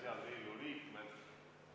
Head Riigikogu liikmed!